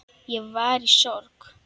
Ég var í sorg.